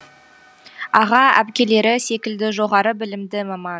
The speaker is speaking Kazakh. аға әпкелері секілді жоғары білімді маман